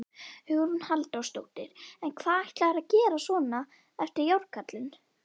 Hugrún Halldórsdóttir: En hvað ætlarðu að gera svona eftir Járnkarlinn?